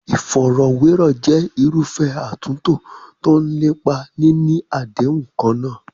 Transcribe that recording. Ìfọ̀rọ̀wérọ̀ jẹ́ irúfẹ́ àtúntò tó ń lépa níní àdéhùn kan náà.